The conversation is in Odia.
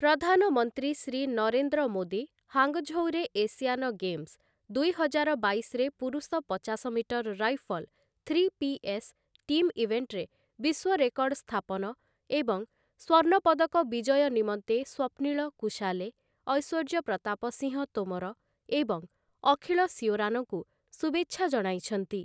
ପ୍ରଧାନମନ୍ତ୍ରୀ ଶ୍ରୀ ନରେନ୍ଦ୍ର ମୋଦୀ ହାଙ୍ଗଝୋଉରେ ଏସିଆନ ଗେମ୍ସ ଦୁଇହଜାର ବାଇଶରେ ପୁରୁଷ ପଚାଶ metre rifle three P S team ଇଭେଣ୍ଟରେ ବିଶ୍ୱ ରେକର୍ଡ଼ ସ୍ଥାପନ ଏବଂ ସ୍ୱର୍ଣ୍ଣ ପଦକ ବିଜୟ ନିମନ୍ତେ ସ୍ୱପ୍ନିଳ କୁସାଲେ, ଐଶ୍ୱର୍ଯ୍ୟ ପ୍ରତାପ ସିଂହ ତୋମର ଏବଂ ଅଖିଳ ଶିଓରାନଙ୍କୁ ଶୁଭେଚ୍ଛା ଜଣାଇଛନ୍ତି ।